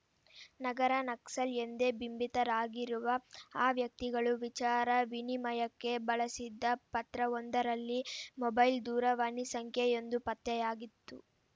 ನಗರ ನಕ್ಸಲ್‌ ಎಂದೇ ಬಿಂಬಿತರಾಗಿರುವ ಆ ವ್ಯಕ್ತಿಗಳು ವಿಚಾರ ವಿನಿಮಯಕ್ಕೆ ಬಳಸಿದ್ದ ಪತ್ರವೊಂದರಲ್ಲಿ ಮೊಬೈಲ್‌ ದೂರವಾಣಿ ಸಂಖ್ಯೆಯೊಂದು ಪತ್ತೆಯಾಗಿತ್ತು